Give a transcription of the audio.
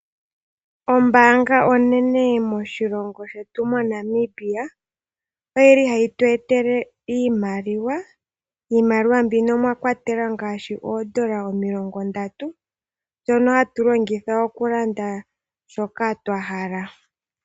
Ombaanga onene moshilongo shetu mo Namibia oyili hayi tweetele iimaliwa, iimaliwa mbino omwa kwatelwa ngaashi oodola omilongo ndatu ndjono hatu longitha okulanda shoka twahala.